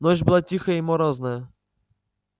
ночь была тихая и морозная